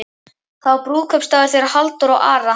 Það var brúðkaupsdagur þeirra Halldóru og Ara.